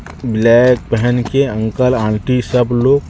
black पेहन के uncle aunty सब लोग--